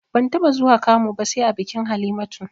Ban taɓa zuwa kamu ba sai a bikin Halimatu